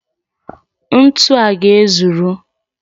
Ntu a ga-ezuru?